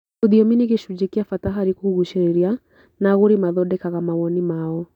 Rũthiomi nĩ gĩcunjĩ kĩa bata harĩ kũgucĩrĩria, na agũri mathondekaga mawoni mao,